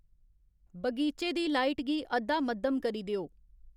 बगीचे दी लाइट गी अद्धा मद्धम करी देओ